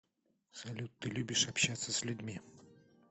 салют ты любишь общаться с людьми